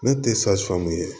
Ne tɛ ye